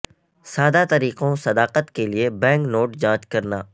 سادہ طریقوں صداقت کے لئے بینک نوٹ جانچ کرنا